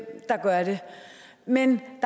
der gør det men